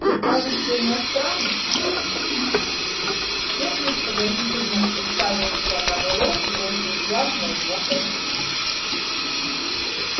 вы кажется иностранец техник подозрительно уставился на мэллоу бросив взгляд на его костюм